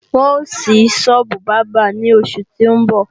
Wọn ó ṣí sọ́ọ́bù bábà ní oṣù tí ń bọ̀